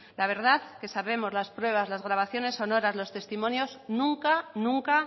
la verdad que sabemos las pruebas las grabaciones sonoras los testimonios nunca nunca